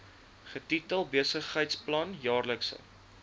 getitel besigheidsplan jaarlikse